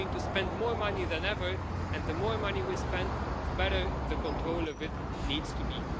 We're going to spend more money than ever, and the more money we spend, the better the control of it needs to